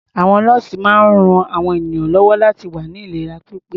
Àwọn nọ́ọ̀sì máa ń ran àwọn ènìyàn lọ́wọ́ láti wà ní ìlera pípé.